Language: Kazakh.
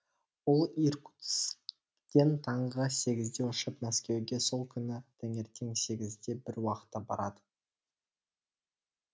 ол иркутскіден таңғы сегізде ұшып мәскеуге сол күні таңертең сегізде бір уақытта барады